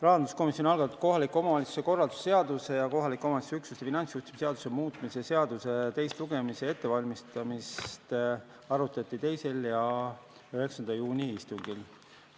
Rahanduskomisjoni algatanud kohaliku omavalitsuse korralduse seaduse ja kohaliku omavalitsuse üksuse finantsjuhtimise seaduse muutmise seaduse teise lugemise ettevalmistamist arutati arutati 2. ja 9. juuni istungil.